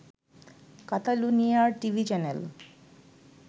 কাতালুনিয়ার TV channel